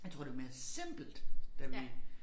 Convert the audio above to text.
Jeg tror det var mere simpelt da vi